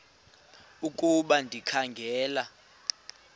ukuba ndikha ngela